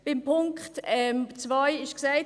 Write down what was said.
Beim Punkt 2 wurde gesagt …